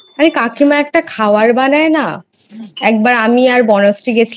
আর কাকিমা একটা খাবার বানায় না একবার আমি আর বনশ্রী গেছিলাম